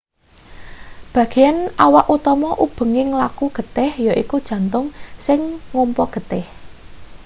bagean awak utama ubenging laku getih yaiku jantung sing ngompa getih